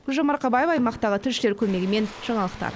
гүлжан марқабаева аймақтағы тілшілер көмегімен жаңалықтар